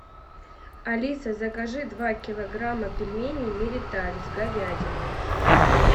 алиса закажи два килограмма пельменей мириталь с говядиной